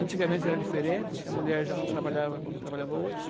Antigamente era diferente, a mulher já não trabalhava como trabalhava hoje.